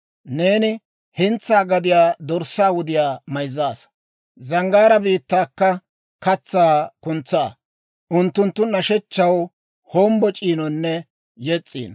Neeni hentsaa gadiyaa dorssaa wudiyaa mayzzaasa; zanggaaraa biittaakka katsaa kuntsaa. Unttunttu nashshechchaw hombboc'iinonne yes's'iino.